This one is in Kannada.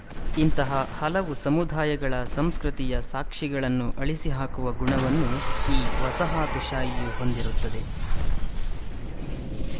ಇಂತಹ ಹಲವು ಸಮುದಾಯಗಳ ಸಂಸ್ಕೃತಿಯ ಸಾಕ್ಶಿಗಳನ್ನು ಅಳಿಸಿ ಹಾಕುವ ಗುಣವನ್ನು ಈ ವಸಾಹತುಶಾಹಿಯು ಹೊಂದಿರುತ್ತದೆ